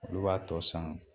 Olu b'a tɔ san